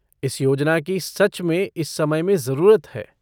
इस योजना की सच में इस समय में जरूरत है।